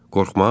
Qorxmaq?